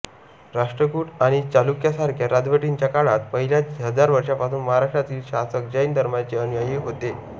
राष्ट्रकूट आणि चालुक्यासारख्या राजवटींच्या काळात पहिल्या हजार वर्षांपासून महाराष्ट्रातील शासक जैन धर्माचे अनुयायी होते